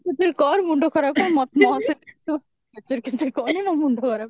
କେଚେରେ କେଚେରେ କର ମୁଣ୍ଡ ଖରାପ କର ମତେ ମୋ ସହିତ ତୁ କେଚେରେ କେଚେରେ କରନି ମୋ ମୁଣ୍ଡ ଖରାପ